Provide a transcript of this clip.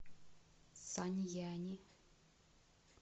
саньяни